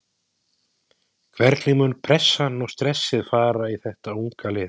Hvernig mun pressan og stressið fara í þetta unga lið?